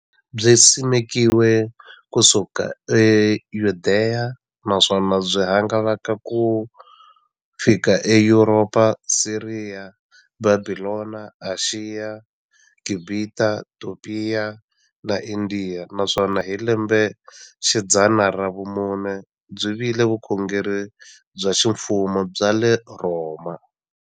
Byisimekiwe ku suka e Yudeya, naswona byi hangalake ku xika eYuropa, Siriya, Bhabhilona, Ashiya, Gibhita, Topiya na Indiya, naswona hi lembexidzana ra vumune byi vile vukhongeri bya ximfumo bya le Rhoma.